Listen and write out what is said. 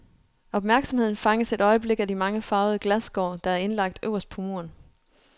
Opmærksomheden fanges et øjeblik af de mange farvede glasskår, der er indlagt øverst på muren.